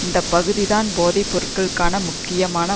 இந்த பகுதிதான் போதை பொருட்களுக்கான முக்கியமான